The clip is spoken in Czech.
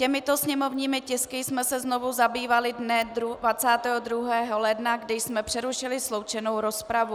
Těmito sněmovními tisky jsme se znovu zabývali dne 22. ledna, kdy jsme přerušili sloučenou rozpravu.